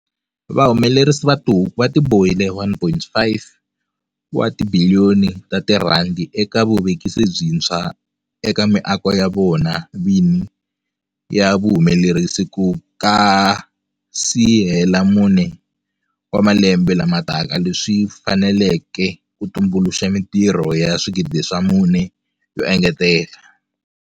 Vahumelerisi va tihuku va tibohile R1.5 wa tibiliyoni eka vuvekisi byintshwa eka miako ya vona vini ya vuhumelerisi ku nga si hela mune wa malembe lama taka, leswi swi faneleke tumbuluxa mitirho ya 4 000 yo engetela.